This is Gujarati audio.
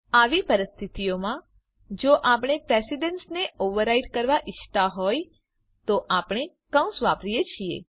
આવી પરિસ્થિતિઓમાં જો આપણે પ્રેશીડેન્સને ઓવરરાઈડ કરવા ઈચ્છતા હોઈએ તો આપણે કૌંસ વાપરીએ છીએ